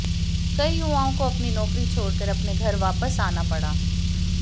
कई युवाओं को अपनी नौकरी छोड़ कर अपने घर वापस आना पड़ा